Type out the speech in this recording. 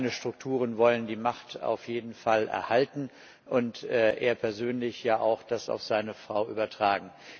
Seine Strukturen wollen die Macht auf jeden Fall erhalten, und er persönlich möchte das ja auch auf seine Frau übertragen.